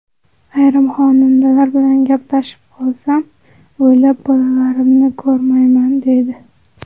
Ayrim xonandalar bilan gaplashib qolsam, oylab bolalarimni ko‘rmayman, deydi.